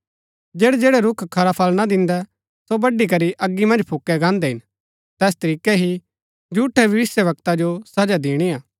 जैड़ैजैड़ै रूख खरा फळ ना दिन्दै सो बड्डी करी अगी मन्ज फूकी गान्दै हिन तैस तरीकै ही झूठै भविष्‍यवक्ता जो सजा दिणी हा